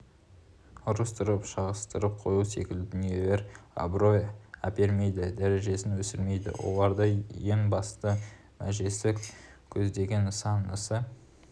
ұрыстырып шағыстырып қою секілді дүниелер абырой әпермейді дәрежесін өсірмейді олардың ең басты межесі көздеген нысанасы